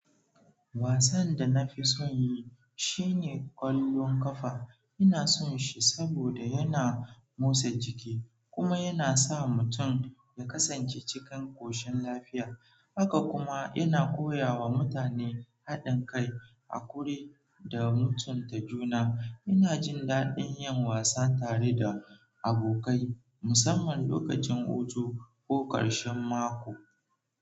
Wasan da na fi son yi shi ne ƙwallon ƙafa. Ina son shi saboda yana motsa jiki kuma yana sa mutum ya kasance cikin ƙoshin lafiya. Haka kuma, yana koya wa mutane haɗin kai, haƙuri da mutunta juna. Ina jin daɗin yin wasan tare da abokai, musamman lokacin hutu ko ƙarshen mako.